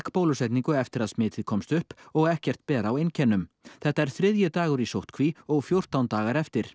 bólusetningu eftir að smitið komst upp og ekkert ber á einkennum þetta er þriðji dagur í sóttkví og fjórtan daga eftir